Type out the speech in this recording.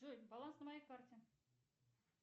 джой баланс на моей карте